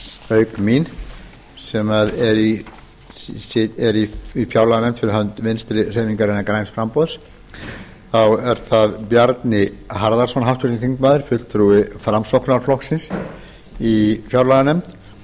auk mín sem er í fjárlaganefnd fyrir hönd vinstri hreyfingarinnar græns framboðs háttvirtur þingmaður bjarni harðarson fulltrúi framsóknarflokksins í fjárlaganefnd